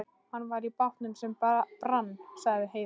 Hann var í bátnum sem brann, sagði Heiða.